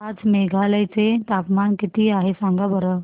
आज मेघालय चे तापमान किती आहे सांगा बरं